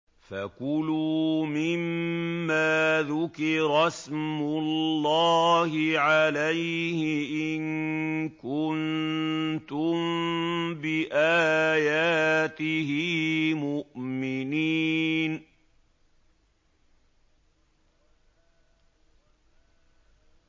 فَكُلُوا مِمَّا ذُكِرَ اسْمُ اللَّهِ عَلَيْهِ إِن كُنتُم بِآيَاتِهِ مُؤْمِنِينَ